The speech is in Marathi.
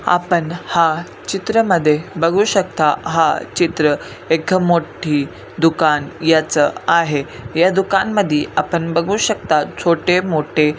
आपण हा चित्रा मध्ये बघू शकता हा चित्र एका मोठी दुकान याच आहे. या दुकान मधी आपण बघू शकता छोटे मोठे--